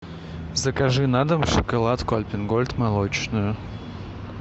закажи на дом шоколадку альпен гольд молочную